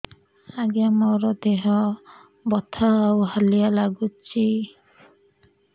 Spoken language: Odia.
ଆଜ୍ଞା ମୋର ଦେହ ବଥା ଆଉ ହାଲିଆ ଲାଗୁଚି